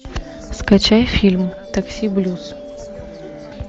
скачай фильм такси блюз